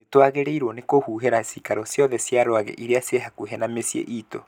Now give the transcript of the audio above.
N twagĩrĩirwo nĩ kũhuhĩra cikaro ciothe cia rwagĩ ĩrĩa ci hakuhĩ na mĩciĩ itũ